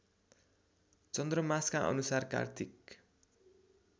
चन्द्रमासका अनुसार कार्तिक